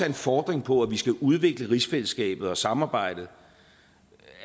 en fordring på at vi skal udvikle rigsfællesskabet og samarbejdet